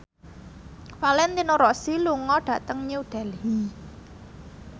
Valentino Rossi lunga dhateng New Delhi